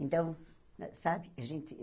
Então, sabe? A gente